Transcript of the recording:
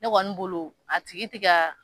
Ne kɔni bolo a tigi ti ka